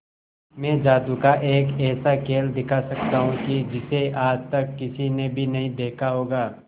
मैं जादू का एक ऐसा खेल दिखा सकता हूं कि जिसे आज तक किसी ने भी नहीं देखा होगा